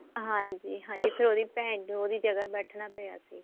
ਹਾਂਜੀ ਹਾਂਜੀ ਫੇਰ ਉਹਦੀ ਭੈਣ ਨੂੰ ਉਹਦੀ ਜਗ੍ਹਾ ਬੈਠਣਾ ਪਿਆ ਸੀ